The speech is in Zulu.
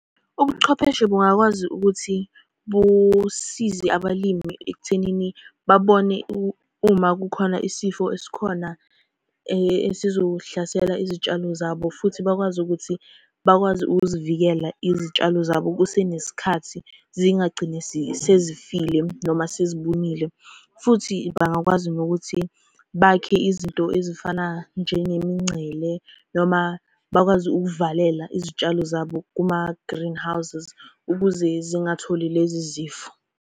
Ubuchwepheshe bungakwazi ukuthi, busize abalimi ekuthenini babone uma kukhona isifo esikhona esizohlasela izitshalo zabo, futhi bakwazi ukuthi bakwazi ukuzivikela izitshalo zabo kusenesikhathi. Zingagcini sezifile noma sezibunile, futhi bangakwazi nokuthi bakhe izinto ezifana njengemingcele noma bakwazi ukuvalela izitshalo zabo kuma-greenhouses, ukuze zingatholi lezi zifo.